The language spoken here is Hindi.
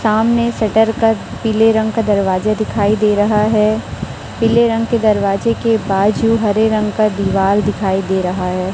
सामने शटर का पीले रंग का दरवाजा दिखाई दे रहा है। पीले रंग के दरवाजे के बाद जो हरे रंग का दीवाल दिखाई दे रहा है।